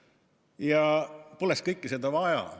Ja poleks kõike seda vaja.